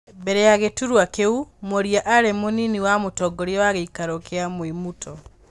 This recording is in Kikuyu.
Mbere ya gĩturwa kĩu, Mworia arĩ mũnini wa mũtongorĩa wa gĩikaro gĩa Mwĩmuto.